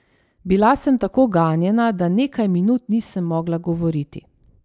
Bila sem tako ganjena, da nekaj minut nisem mogla govoriti.